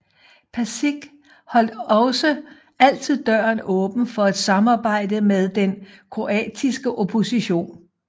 Pasić holdt også altid døren åben for et samarbejde med den kroatiske opposition